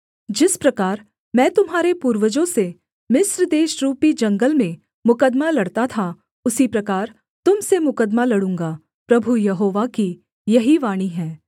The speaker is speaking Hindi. जिस प्रकार मैं तुम्हारे पूर्वजों से मिस्र देशरूपी जंगल में मुकद्दमा लड़ता था उसी प्रकार तुम से मुकद्दमा लड़ूँगा प्रभु यहोवा की यही वाणी है